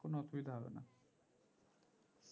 কোনো অসুবিধা হবে না